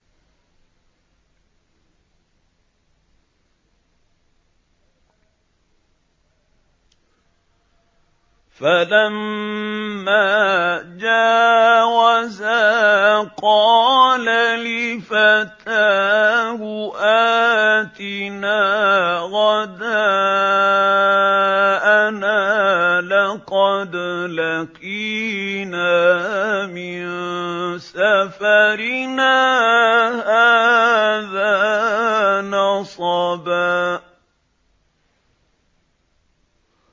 فَلَمَّا جَاوَزَا قَالَ لِفَتَاهُ آتِنَا غَدَاءَنَا لَقَدْ لَقِينَا مِن سَفَرِنَا هَٰذَا نَصَبًا